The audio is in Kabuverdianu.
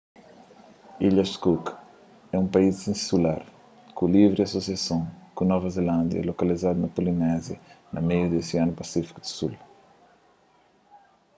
ilhas cook é un país insular ku livri asosiason ku nova zelándia lokalizadu na polinézia na meiu di osianu pasífiku di sul